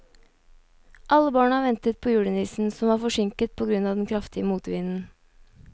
Alle barna ventet på julenissen, som var forsinket på grunn av den kraftige motvinden.